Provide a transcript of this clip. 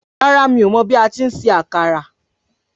Rárá mi o mọ bi ati ń se àkàrà